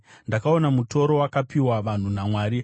Ndakaona mutoro wakapiwa vanhu naMwari.